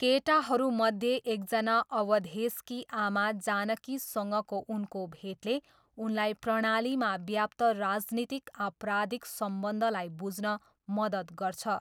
केटाहरूमध्ये एकजना अवधेशकी आमा जानकीसँगको उनको भेटले उनलाई प्रणालीमा व्याप्त राजनीतिक आपराधिक सम्बन्धलाई बुझ्न मद्दत गर्छ।